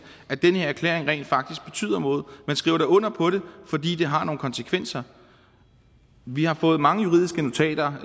at den her erklæring rent faktisk betyder noget man skriver da under på det fordi det har nogle konsekvenser vi har fået mange juridiske notater